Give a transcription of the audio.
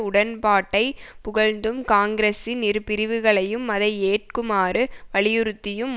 உடன்பாட்டை புகழ்ந்தும் காங்கிரசின் இரு பிரிவுகளையும் அதை ஏற்குமாறு வலியுறுத்தியும்